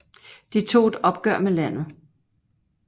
De tog et opgør med landet